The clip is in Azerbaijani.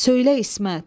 Söylə, İsmət.